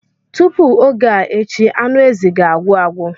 Tupu oge a echi anụ ezi ga-agwụ agwụ.